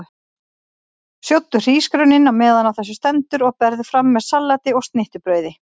Sjóddu hrísgrjónin á meðan á þessu stendur og berðu fram með salati og snittubrauði.